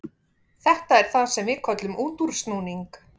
Þetta er það sem við köllum útúrsnúning.